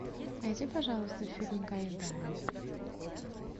найди пожалуйста фильмы гайдая